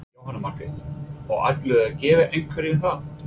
Jóhanna Margrét: Og ætlarðu að gefa einhverjum það?